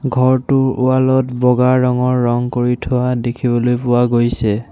ঘৰটোৰ ৱাল ত বগা ৰঙৰ ৰং কৰি থোৱা দেখিবলৈ পোৱা গৈছে।